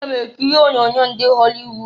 Aga m ekiri onyoonyo ndị họlị wud.